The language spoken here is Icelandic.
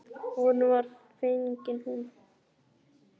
Honum var fengin hún.